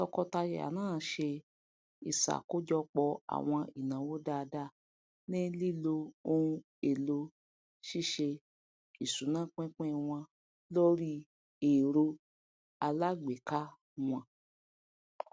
tọkọtaya náà ṣe ìṣàkọjọpọ àwọn ináwó dáadáa ní lílo ohun èlò ṣíṣe ìṣúnápínpín wọn lórí ẹro aláàgbéká wọn